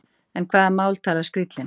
En hvaða mál talar skrílinn?